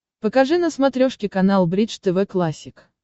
покажи на смотрешке канал бридж тв классик